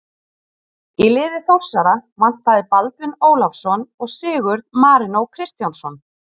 Í liði Þórsara vantaði Baldvin Ólafsson og Sigurð Marinó Kristjánsson.